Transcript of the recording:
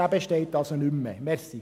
Dieser besteht also nicht mehr.